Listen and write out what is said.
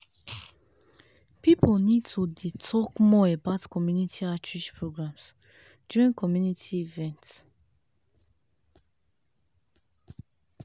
people need to to dey talk more about community outreach programs during community events.